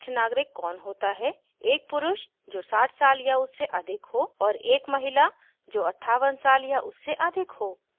वरिष्ठ नागरिक कौन होता है एक पुरुष जो 60 साल या उससे अधिक हो और एक महिला जो 58 साल या उससे अधिक हो